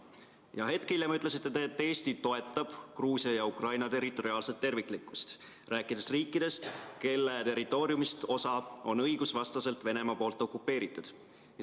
Ja hetk hiljem ütlesite te, et Eesti toetab Gruusia ja Ukraina territoriaalset terviklikkust, rääkides riikidest, kelle territooriumist osa on Venemaa õigusvastaselt okupeerinud.